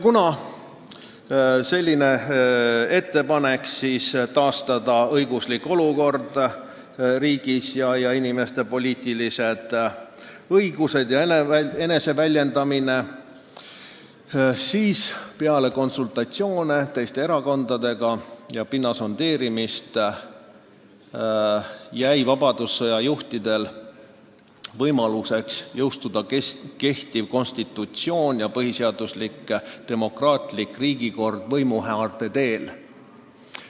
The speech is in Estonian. Kuna tehti ettepanek taastada õiguslik olukord riigis ning inimeste poliitilised õigused ja eneseväljendusvabadus, siis peale konsultatsioone teiste erakondadega ja pinna sondeerimist jäi vabadussõja juhtidele võimalus jõustada kehtiv konstitutsioon ja põhiseaduslik demokraatlik riigikord võimuhaaramise teel.